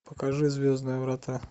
покажи звездные врата